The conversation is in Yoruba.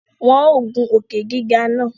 Wọn o gun òkè-gígà náà